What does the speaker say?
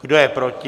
Kdo je proti?